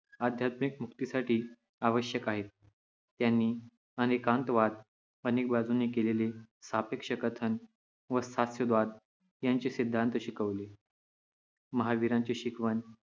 आध्यात्मिक मुक्तीसाठी आवश्यक आहेत. त्यांनी अनेकान्तवाद अनेक बाजूंनी केलेले सापेक्ष कथन व स्याद्वाद यांचे सिद्धांत शिकवले. महावीरांची शिकवण